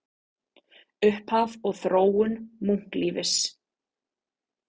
Upphaf og þróun munklífis